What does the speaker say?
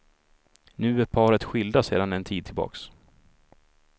Nu är paret skilda sedan en tid tillbaks.